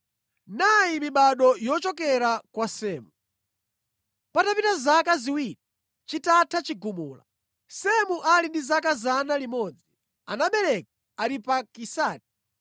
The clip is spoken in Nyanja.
Nayi mibado yochokera kwa Semu. Patapita zaka ziwiri chitatha chigumula, Semu ali ndi zaka 100, anabereka Aripakisadi.